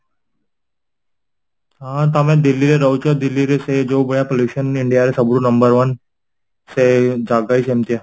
ହଁ ତମେ Delhi ରେ ରହୁଛ delhi ସେ ଯୋଉ ଭାଲିଆ pollution india ରେ ସବୁଠୁ number one ସେ ଜାଗା ହିଁ ସେମିତିଆ